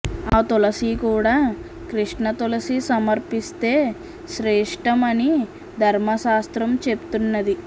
ఆ తులసి కూడా కృష్ణ తులసి సమర్పిస్తే శ్రేష్టం అని ధర్మశాస్త్రం చెప్తున్నది